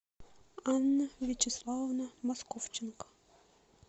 анна вячеславовна московченко